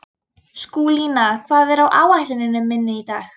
Skúlína, hvað er á áætluninni minni í dag?